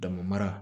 Dama mara